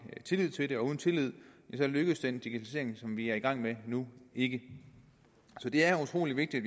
tillid til det og uden tillid lykkes den digitalisering vi er i gang med nu ikke så det er utrolig vigtigt